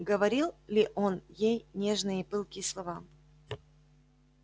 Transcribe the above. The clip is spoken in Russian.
говорил ли он ей нежные и пылкие слова